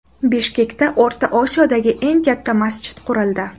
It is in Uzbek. Bishkekda O‘rta Osiyodagi eng katta masjid qurildi.